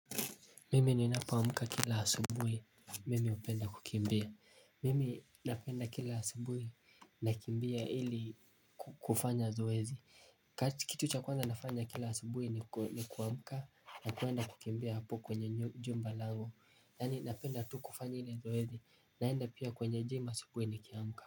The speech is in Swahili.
Mimi ninapoamka kila asubui mimi hupenda kukimbia. Mimi napenda kila asubui nakimbia ili kufanya zoezi. Kitu cha kwanza nafanya kila asubui ni kuamka na kwenda kukimbia hapo kwenye jumbalangu. Yaani napenda tu kufanya ili zoezi naenda pia kwenye gym asubui ni kiamka.